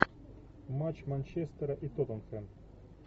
матч манчестера и тоттенхэм